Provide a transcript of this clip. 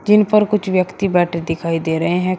जिन पर कुछ व्यक्ति बैठे दिखाई दे रहे हैं।